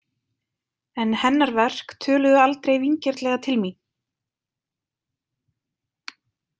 En hennar verk töluðu aldrei vingjarnlega til mín.